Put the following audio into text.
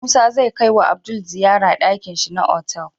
Musa zai kai wa Bello ziyar dakin shi na otal